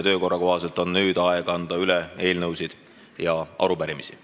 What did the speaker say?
Töökorra kohaselt on nüüd aeg anda üle eelnõusid ja arupärimisi.